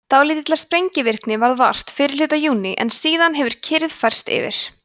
dálítillar sprengivirkni varð vart fyrri hluta júní en síðan hefur kyrrð færst yfir